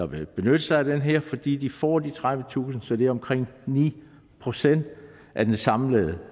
vil benytte sig af det her fordi de får de tredivetusind kroner så det er omkring ni procent af den samlede